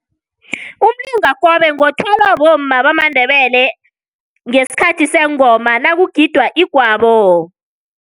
Umlingakobe ngothwala bomma bamaNdebele ngesikhathi sengoma nakugidwa igwabo.